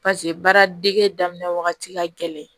paseke baaradege daminɛ wagati ka gɛlɛn